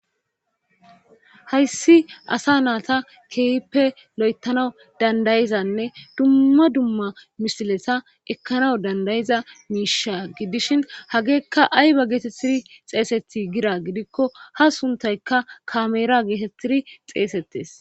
hayssi asa naata keehippe lo7etanawu dandayizanne dumma dumma misilesa ekkanaw danda7iza miisha gidishin hageekka ayba geetettiri xeeseti gira gidikko ha suntayka kameera geetettiri xeesettes